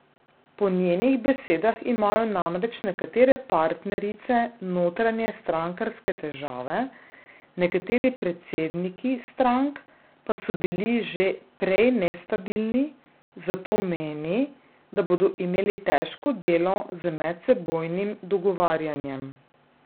Po njenih besedah imajo namreč nekatere partnerice notranje strankarske težave, nekateri predsedniki strank pa so bili že prej nestabilni, zato meni, da bodo imeli težko delo z medsebojnim dogovarjanjem.